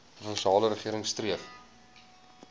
provinsiale regering streef